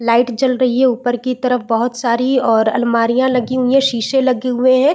Light जल रही है ऊपर की तरफ बहुत सारी और अलमारिया लगी हुई है शीशे लगे हुए है।